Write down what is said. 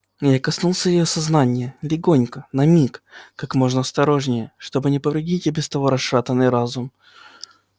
я коснулся её сознания легонько на миг как можно осторожнее чтобы не повредить и без того расшатанный разум